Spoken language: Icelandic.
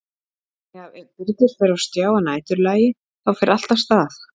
Þannig að ef Birgir fer á stjá að næturlagi þá fer allt af stað?